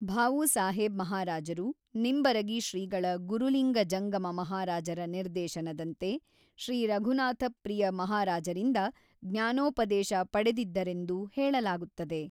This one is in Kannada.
ಭಾವೂಸಾಹೇಬ್ ಮಹಾರಾಜರು ನಿಂಬರಗಿ ಶ್ರೀಗಳ ಗುರುಲಿಂಗ ಜಂಗಮ ಮಹಾರಾಜರ ನಿರ್ದೇಶನದಂತೆ ಶ್ರೀ ರಘುನಾಥಪ್ರಿಯ ಮಹಾರಾಜರಿಂದ ಜ್ಙಾನೋಪದೇಶ ಪಡೆದಿದ್ದರೆಂದು ಹೇಳಲಾಗುತ್ತದೆ.